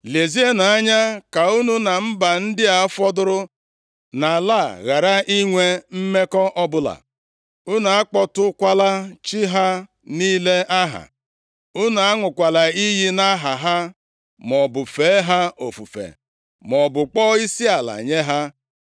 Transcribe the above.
Lezienụ anya ka unu na mba ndị a fọdụrụ nʼala a ghara inwe mmekọ ọbụla. Unu akpọtụkwala chi ha niile aha. Unu aṅụkwala iyi nʼaha ha, maọbụ fee ha ofufe, maọbụ kpọọ isiala nye ha.